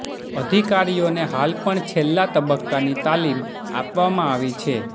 અધિકારીઓને હાલ પણ છેલ્લા તબક્કાની તાલીમ આપવામાં આવી છે